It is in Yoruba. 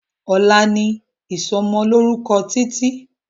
ọlá ní ìsomo lórúko Títí